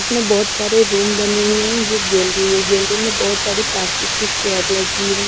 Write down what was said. इसमें बहुत सारे रूम बने हुए हैं ये गैलरी है गैलरी में बहुत सारी प्लास्टिक की चेयर लगी है।